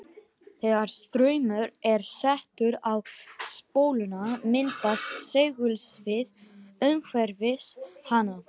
Þegar straumur er settur á spóluna myndast segulsvið umhverfis hana.